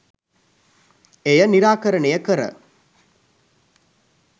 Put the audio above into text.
එය නිරාකරණය කර